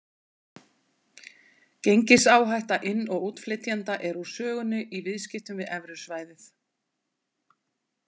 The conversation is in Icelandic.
Gengisáhætta inn- og útflytjenda er úr sögunni í viðskiptum við evrusvæðið.